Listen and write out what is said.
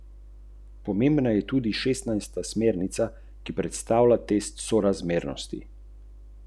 A kaj naj storim?